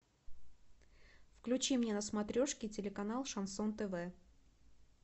включи мне на смотрешке телеканал шансон тв